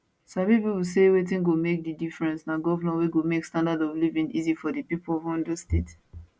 sabi pipo say wetin go make di difference na govnor wey go make standard of living easy for di pipo of ondo state